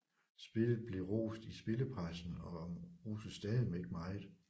Spillet blev rost i spillepressen og og roses stadig meget